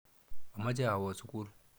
Amache awo sukul.